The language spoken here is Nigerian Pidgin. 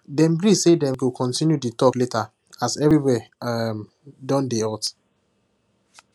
dem gree say dem go continue the talk later as everywhere um don dey hot